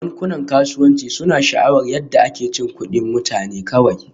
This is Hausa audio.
Bankunan kasuwanci suna sha'awar yadda ake cin kuɗin mutane kawai